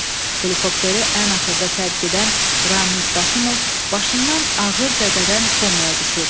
Helikopteri ən axırda tərk edən Ramiz Qasımov başından ağır zədədən komaya düşür.